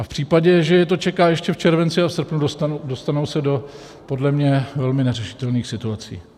A v případě, že je to čeká ještě v červenci a v srpnu, dostanou se do podle mě velmi neřešitelných situací.